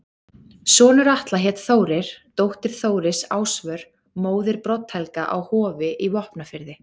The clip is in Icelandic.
Sonur Atla hét Þórir, dóttir Þóris Ásvör, móðir Brodd-Helga á Hofi í Vopnafirði.